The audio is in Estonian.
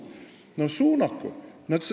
No suunaku!